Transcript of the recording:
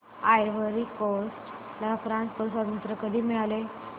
ivory Coast ला France कडून स्वातंत्र्य कधी मिळाले